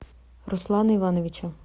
руслана ивановича